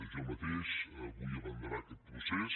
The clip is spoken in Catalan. jo mateix vull abanderar aquest procés